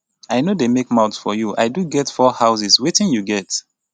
i no dey make mouth for you. i do get 4 houses wetin you get.